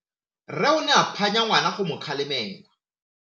Rre o ne a phanya ngwana go mo galemela..